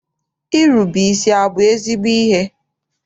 Irube isi abụ ezigbo ihe?